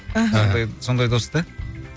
ыхы сондай сондай дос та